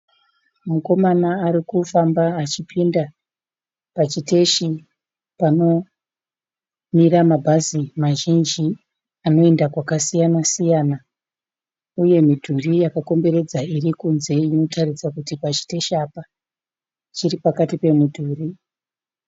Mukoma arikufamba achipinda pachiteshi panomira mabhazi mazhinji anoenda kwakasiyana siyana. Uye midhuri yakakomberedza irikunze inotaridza kuti pachiteshi apa chiripakati pemidhuri.